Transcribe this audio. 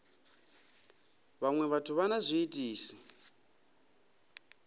vhaṅwe vhathu vha na zwiitisi